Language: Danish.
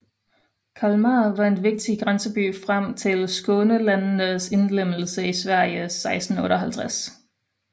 Kalmar var en vigtig grænseby frem til Skånelandenes indlemmelse i Sverige 1658